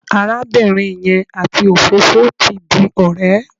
Arábìnrin yẹn àti òfófó ti di ọ̀rẹ́.